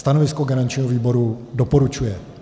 Stanovisko garančního výboru: doporučuje.